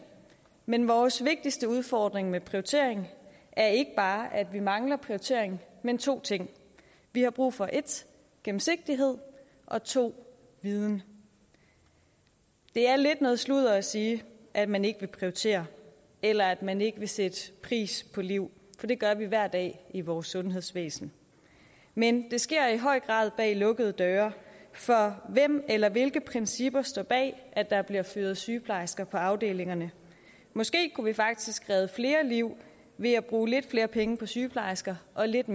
men vores vigtigste udfordring med prioritering er ikke bare at vi mangler prioritering men to ting vi har brug for 1 gennemsigtighed og 2 viden det er lidt noget sludder at sige at man ikke vil prioritere eller at man ikke vil sætte pris på liv for det gør vi hver dag i vores sundhedsvæsen men det sker i høj grad bag lukkede døre for hvem eller hvilke principper står bag at der bliver fyret sygeplejersker på afdelingerne måske kunne vi faktisk redde flere liv ved at bruge lidt flere penge på sygeplejersker og lidt